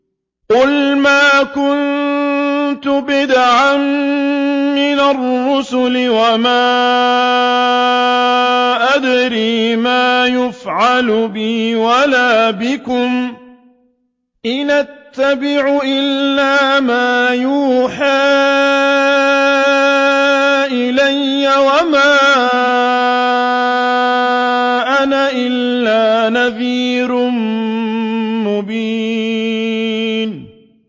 قُلْ مَا كُنتُ بِدْعًا مِّنَ الرُّسُلِ وَمَا أَدْرِي مَا يُفْعَلُ بِي وَلَا بِكُمْ ۖ إِنْ أَتَّبِعُ إِلَّا مَا يُوحَىٰ إِلَيَّ وَمَا أَنَا إِلَّا نَذِيرٌ مُّبِينٌ